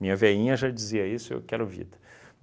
Minha veinha já dizia isso, eu quero vida.